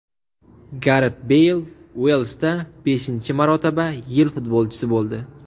Garet Beyl Uelsda beshinchi marotaba yil futbolchisi bo‘ldi.